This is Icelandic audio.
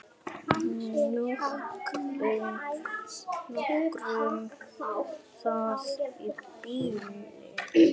Nóg um það í bili.